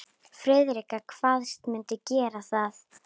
Friðrik kvaðst mundu gera það.